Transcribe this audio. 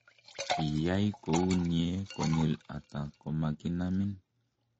kiiyai kou nie konyil ata komakinamin?